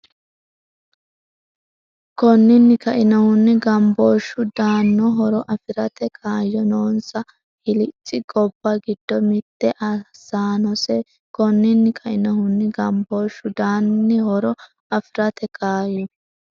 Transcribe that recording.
Konninni kainohunni, gambooshshu daa”an- horo afi’rate kaayyo noonsa hilicci gobba giddo mitte aasannose Konninni kainohunni, gambooshshu daa”an- horo afi’rate kaayyo.